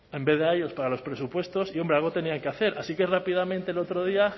en vez de a ellos para los presupuestos y hombre algo tenían que hacer así que rápidamente el otro día